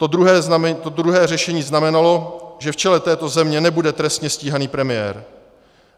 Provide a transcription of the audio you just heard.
To druhé řešení znamenalo, že v čele této země nebude trestně stíhaný premiér.